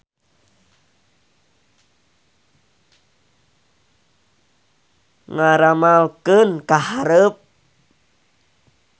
Ngaramalkeun ka hareup.